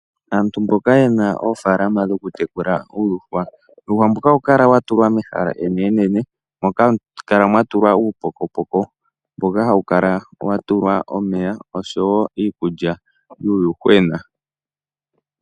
Aantu mboka yena oofalama dhokutekula uuyuhwa, uuyuhwa mbuka ohawu kala watulwa mehala enene nene moka hamu kala mwatulwa uupokopoko, mboka hawu kala watulwa omeya oshowo iikulya yuuyuhwena.